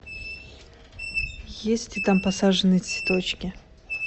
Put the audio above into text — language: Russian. есть ли там посаженные цветочки